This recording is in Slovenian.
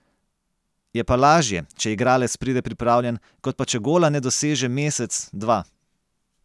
Je pa lažje, če igralec pride pripravljen, kot pa če gola ne doseže mesec, dva.